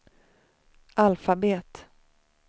alfabet